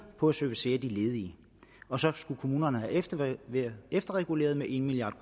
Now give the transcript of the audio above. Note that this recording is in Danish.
på at servicere de ledige og så skal kommunerne have efterreguleret efterreguleret med en milliard